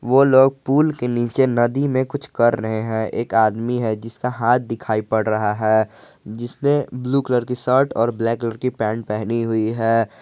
वो लोग पुल के नीचे नदी में कुछ कर रहे हैं एक आदमी है जिसका हाथ दिखाई पड़ रहा है जिसने ब्लू कलर की शर्ट और ब्लैक कलर की पैंट पहनी हुई है।